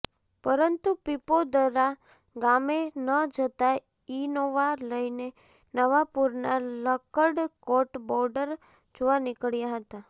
પરંતુ પીપોદરા ગામે ન જતા ઇનોવા લઇને નવાપુરના લક્કડકોટ બોર્ડર જોવા નીકળ્યા હતા